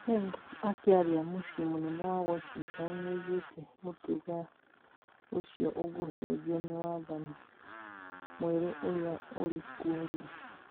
Pence akĩaria mũcĩĩ mũnene wa Washington nĩoigĩte mũtugo ũcio ũgũcenjio nĩ wathani mwerũ ũrĩa ũrĩkuo rĩu